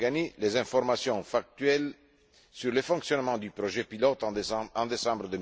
Gargani, les informations factuelles sur le fonctionnement du projet pilote en décembre